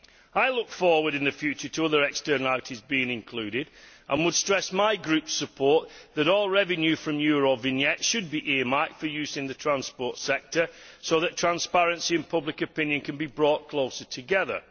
I look forward in the future to other externalities being included and would stress my group's support that all revenue from Eurovignettes should be earmarked for use in the transport sector so that transparency and public opinion can be brought closer together.